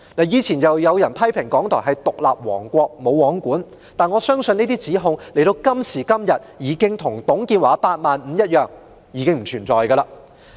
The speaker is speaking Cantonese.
以往有人批評港台是獨立王國、"無皇管"，但在今時今日，我相信這些指控已經如董建華的"八萬五"計劃一般，不存在了。